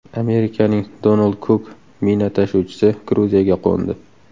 Amerikaning Donald Cook mina tashuvchisi Gruziyaga qo‘ndi.